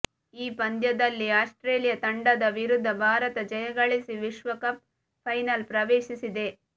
ಈ ಪಂದ್ಯದಲ್ಲಿ ಆಸ್ಟ್ರೇಲಿಯಾ ತಂಡದ ವಿರುದ್ಧ ಭಾರತ ಜಯಗಳಿಸಿ ವಿಶ್ವಕಪ್ ಫೈನಲ್ ಪ್ರವೇಶಿಸಿದೆ